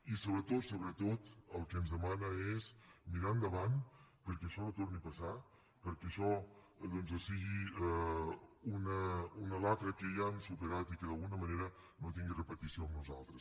i sobretot sobretot el que ens demana és mirar endavant perquè això no torni a passar perquè això doncs sigui una xacra que ja hem superat i que d’alguna manera no tingui repetició amb nosaltres